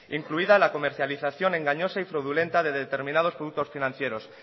incluida la comercialización engañosa y fraudulenta de determinados productos financieros